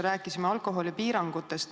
Rääkisime alkoholipiirangutest.